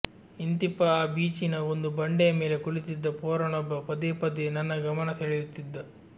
ಇಂತಿಪ್ಪ ಆ ಬೀಚಿನ ಒಂದು ಬಂಡೆಯ ಮೇಲೆ ಕುಳಿತಿದ್ದ ಪೋರನೊಬ್ಬ ಪದೇ ಪದೇ ನನ್ನ ಗಮನ ಸೆಳೆಯುತ್ತಿದ್ದ